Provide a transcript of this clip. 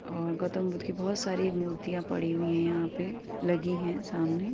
और गौतम बुद्ध की बोहोत सारी मूर्तियां पड़ी हुई है यहां पे लगी हैं सामने।